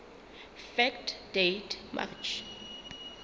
fact date march